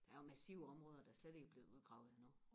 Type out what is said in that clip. der er jo massive områder der slet ikke er blevet udgravet endnu